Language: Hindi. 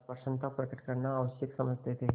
अप्रसन्नता प्रकट करना आवश्यक समझते थे